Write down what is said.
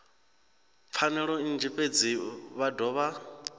pfanelo nnzhi fhedzi vha dovha